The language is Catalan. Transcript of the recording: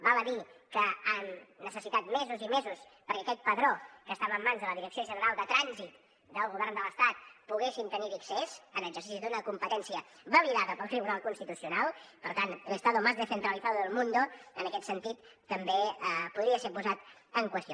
val a dir que hem necessitat mesos i mesos perquè a aquest padró que estava en mans de la direcció general de trànsit del govern de l’estat poguéssim tenir hi accés en exercici d’una competència validada pel tribunal constitucional per tant el estado más descentralizado del mundo en aquest sentit també podria ser posat en qüestió